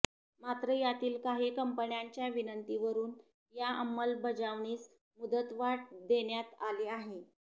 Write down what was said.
मात्र यातील काही कंपन्यांच्या विनंतीवरून या अंमलबजावणीस मुदतवाढ देण्यात आली आहे